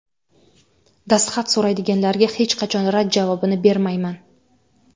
Dastxat so‘raydiganlarga hech qachon rad javobini bermayman.